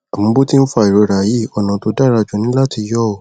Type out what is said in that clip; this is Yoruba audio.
àmọ bó ti ń fa ìrora yìí ọnà tí ó dára jù ni láti yọ ọ